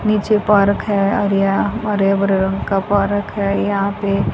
नीचे पार्क है और यहां हरे भरे रंग का पार्क है यहां पे।